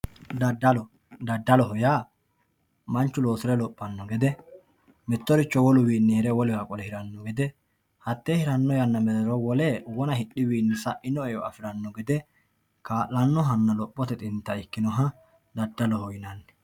Dadalu, dadaloho yaa manchu loosire lophano gede mitoricho woluwinni hire wolewa qole hirano gede hate hirano yanarano qole wona hidhiwichini saino eo afirano gede kalanohanna lophote xinita ikkinoha dadaloho yinnanni.